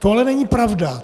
To ale není pravda.